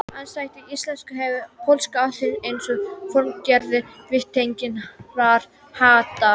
Andstætt íslensku hefur pólska aðeins eina formgerð viðtengingarháttar.